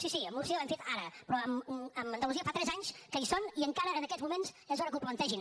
sí sí a múrcia l’han fet ara però a andalusia fa tres anys que hi són i encara en aquests moments és hora que ho plantegin